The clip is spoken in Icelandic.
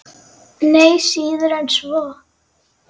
Nei, síður en svo.